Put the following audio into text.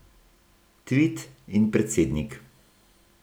Tvit in predsednik.